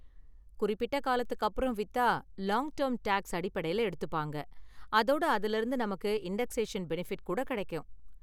குறிப்பிட்ட காலத்துக்கு அப்புறம் வித்தா லாங் டேர்ம் டேக்ஸ் அடிப்படையில எடுத்துப்பாங்க அதோட அதுல இருந்து நமக்கு இன்டக்ஷேஷன் பெனிபிட் கூட கிடைக்கும்.